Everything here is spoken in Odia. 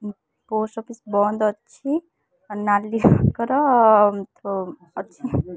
ଉଁ ପୋଷ୍ଟ ଅଫିସ ବନ୍ଦ୍ ଅଛି ଆଉ ନାଲି ରଙ୍ଗର ଉଁ ଅଛି।